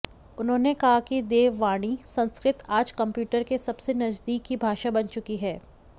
उन्होंने कहा कि देववाणी संस्कृत आज कम्प्यूटर के सबसे नजदीक की भाषा बन चुकी है